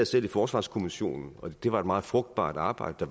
selv i forsvarskommissionen og det var et meget frugtbart arbejde